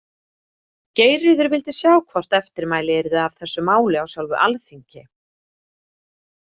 Geirríður vildi sjá hvort eftirmæli yrðu af þessu máli á sjálfu alþingi.